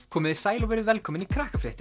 komiði sæl og verið velkomin í